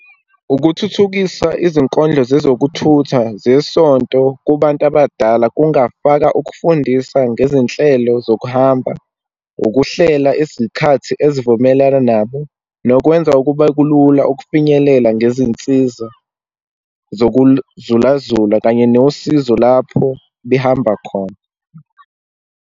Ukuthuthukisa izinkondlo zezokuthutha zesonto kubantu abadala, kungafaka ukufundisa ngezinhlelo zokuhamba, ukuhlela izikhathi ezivumelana nabo, nokwenza kube kulula ukufinyelela ngezinsiza zokuluzulazula kanye nosizo lapho behamba khona.